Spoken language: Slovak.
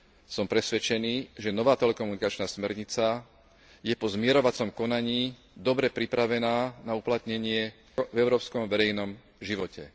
Som presvedčený, že nová telekomunikačná smernica je po zmierovacom konaní dobre pripravená na uplatnenie v európskom verejnom živote.